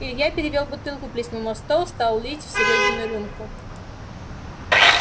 илья перевёл бутылку плеснул на стол стал лить в серёгину рюмку